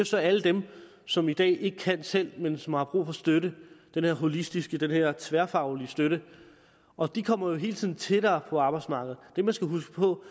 så alle dem som i dag ikke kan selv men som har brug for støtte den her holistiske den her tværfaglige støtte og de kommer jo hele tiden tættere på arbejdsmarkedet det vi skal huske på